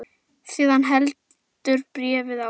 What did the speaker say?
Síðan heldur bréfið áfram